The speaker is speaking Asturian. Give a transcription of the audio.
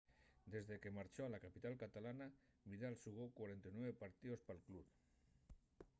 desque marchó a la capital catalana vidal xugó 49 partíos pal club